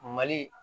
Mali